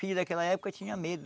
Filho naquela época tinha medo.